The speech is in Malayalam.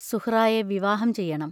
സുഹ്റായ വിവാഹം ചെയ്യണം.